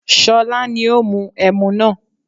Ṣọlá ní ó mu ẹmu náà